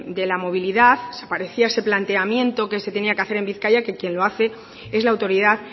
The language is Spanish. de la movilidad desaparecía ese planteamiento que se tenía que hacer en bizkaia que quien lo hace es la autoridad